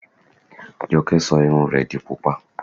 Jọkẹ́ sọ irun rẹ di Pupa.